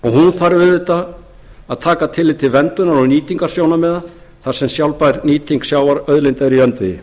þarf auðvitað að taka tillit til verndunar og nýtingarsjónarmiða þar sem sjálfbær nýting sjávarauðlinda er í öndvegi